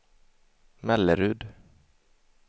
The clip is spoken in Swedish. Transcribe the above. Mellerud